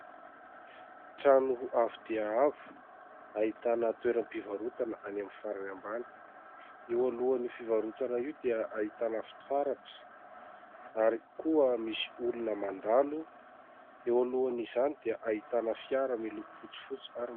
Trano avo dia avo, ahitana toeram-pivarotana any amin'ny farany ambany, eo alohan'io fivarotana io dia ahitana fitaratra ary koa misy olona mandalo, eo alohan' izany dia ahitana fiara miloko fotsifotsy ary...